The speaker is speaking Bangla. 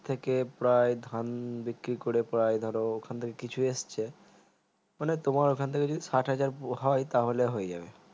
থেকে ধান বিক্রি করে প্রায় ধরো ওখান থেকে কিছু এসেছে তোমার ওখান থেকে যদি সাত হাজার হয় তাহলে হয়ে যাবে